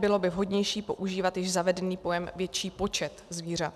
Bylo by vhodnější používat již zavedený pojem "větší počet zvířat".